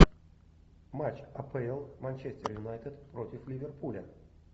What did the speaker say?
матч апл манчестер юнайтед против ливерпуля